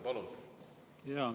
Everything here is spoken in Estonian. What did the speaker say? Palun!